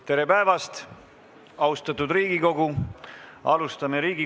Tere päevast, austatud Riigikogu!